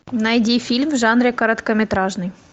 найди фильм в жанре короткометражный